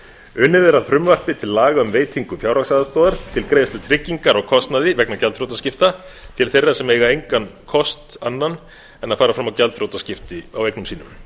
unnið er að frumvarpi til laga um veitingu fjárhagsaðstoðar til greiðslu tryggingar á kostnaði vegna gjaldþrotaskipta til þeirra sem eiga engan kost annan en að fara fram á gjaldþrotaskipti á eignum sínum